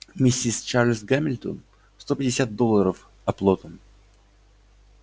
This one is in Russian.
миссис чарлз гамильтон сто пятьдесят долларов оплотом